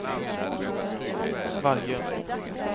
Vargön